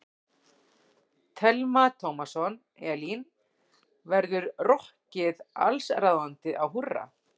Telma Tómasson: Elín, verður rokkið allsráðandi á Húrra?